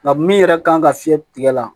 Nka min yɛrɛ kan ka fiyɛ tigɛ la